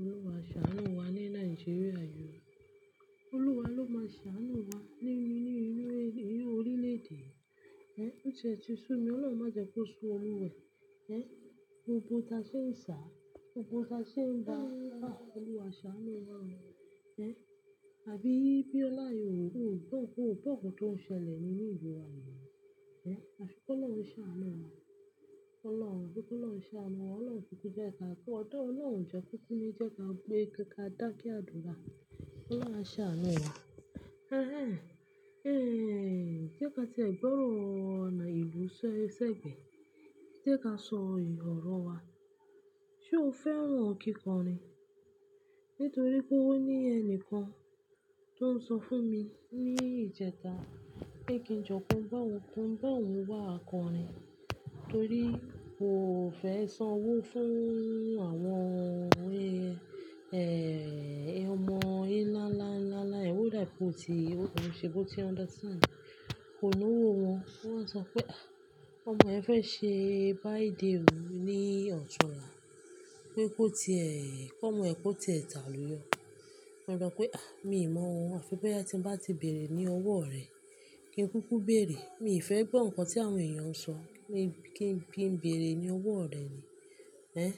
Olúwa, ṣàánú wa ní Nàìjíríà yi ò, Olúwa ló máa ṣàánú wa nínú inú orílẹ̀-èdè. Ó ti ṣú mi, Ọlọ́run má jẹ́ kó sú Olúwẹ̀. Ẹn, òpó ta ṣe ń ṣà, òpó ta ṣe ń ba, Olúwa ṣàánú wa. Ẹn, àbí bí ọlá ìhòhò tó ń kú, tó ń ṣẹlẹ̀ nínú ìlú wa ni. Ẹn, ṣé kó lọ́ ń ṣàánú wa? Ọlọ́run, bí kó lọ́ ń ṣàánú wa, Ọlọ́run kúkú jẹ́ ká kọ́ ọdọ, Ọlọ́run jẹ́ kúkú ní jẹ́ ká gbé ká dákí àdúrà. Olúwa ṣàánú wa. Ẹn, ẹ́n, jẹ́ ká tẹ gbọ́ràn ìlú ṣẹ́gbẹ̀ẹ́. Jẹ́ ká sọ ìrọ́rùn wa. Ṣé o fẹ́ran kíkọrin? Nítorí pé ó ní ẹnìkan tó ń sọ fún mi ní ìjẹta pé kí n jọ kí n bá ohun, kí n bá ohun wá akọrin nítorí kò fẹ́ san owó fún àwọn, ẹ́ẹ́, ọmọ ẹ́ ńlá, ńlá, ńlá. Ẹ̀wù dàípù tí ó ṣe bó tí under ten kò lówó wọn. Wọ́n máa sọ pé, "Àh! Ọmọ ẹ fẹ́ ṣe birthday run ní ọ̀tunla." pé kò ti ẹ, kó ọmọ ẹ kó tẹ ìtàlú yọ. Mo dà pé, "Àh! Mi mọ̀ wọ́n." Aṣe pé ẹ́ tí ń bá ti bèrè ní owó rẹ̀, kí n kúkú bèrè. Mi fẹ́ gbọ́ nǹkan tí àwọn èèyàn ń sọ. Kí n bín bèrè ní owó rẹ̀ ni. Ẹn,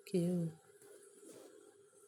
okay o.